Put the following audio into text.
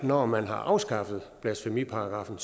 når man har afskaffet blasfemiparagraffen